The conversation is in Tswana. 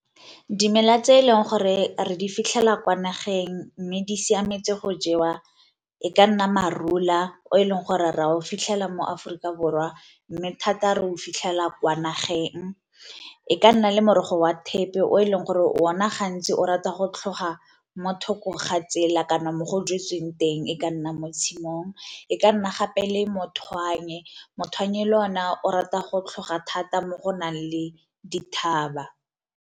Dimela tse e leng gore re di fitlhela kwa nageng mme di siametse go jewa e ka nna marula o eleng gore ra o fitlhela mo Aforika Borwa, mme thata re o fitlhela kwa nageng. E ka nna le morogo wa thepe o e leng gore o na gantsi o rata go tlhoga mo thoko ga tsela kana mo go jetsweng teng e ka nna mo tshimong, e ka nna gape le le ona o rata go tlhoga thata mo go nang le dithaba.